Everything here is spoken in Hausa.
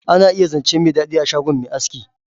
Ana iya zance mai dadi a shgon mai aski.